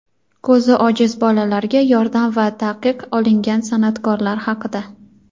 ko‘zi ojiz bolalarga yordam va taqiq olingan san’atkorlar haqida.